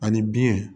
Ani biɲɛ